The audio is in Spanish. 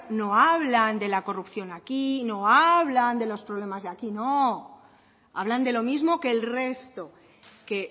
no hablan de la corrupción aquí no hablan de los problemas de aquí no hablan de lo mismo que el resto que